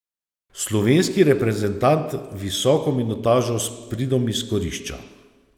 Slovenski reprezentant visoko minutažo s pridom izkorišča.